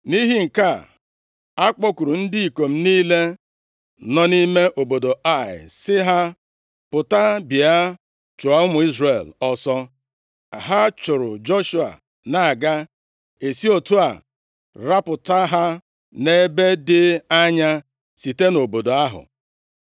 Nʼihi nke a, a kpọkuru ndị ikom niile nọ nʼime obodo Ai sị ha pụta bịa chụọ ụmụ Izrel ọsọ, ha chụrụ Joshua na-aga, e si otu a rapụta ha nʼebe dị anya site nʼobodo ahụ.